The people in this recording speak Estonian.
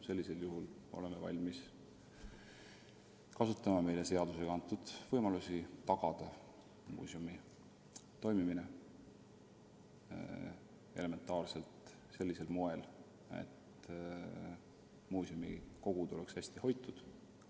Sellisel juhul oleme valmis kasutama meile seadusega antud võimalusi tagada muuseumi toimimine sellisel moel, et vähemalt muuseumikogu oleks hästi hoitud.